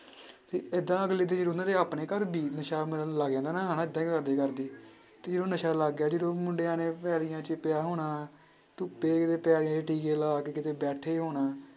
ਤੇ ਏਦਾਂ ਅਗਲੇ ਉਹਨਾਂ ਦੇ ਆਪਣੇ ਘਰ ਵੀ ਨਸ਼ਾ ਮਤਲਬ ਲੱਗ ਜਾਂਦਾ ਨਾ ਤੇ ਉਹ ਨਸ਼ਾ ਲੱਗ ਗਿਆ ਜਦੋਂ ਮੁੰਡਿਆਂ ਨੇ ਪਿਆ ਹੋਣਾ, ਧੁੱਪੇ ਪੈ ਗਏ ਟੀਕੇ ਲਾ ਕੇ ਕਿਤੇ ਬੈਠੇ ਹੋਣਾ।